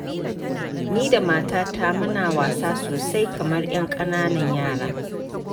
Ni da matata muna wasa sosai kamar 'yan ƙananan yara.